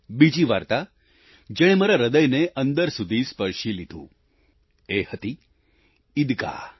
બીજી વાર્તા જેણે મારા હ્રદયને અંદર સુધી સ્પર્શી લીધું એ હતી ઈદગાહ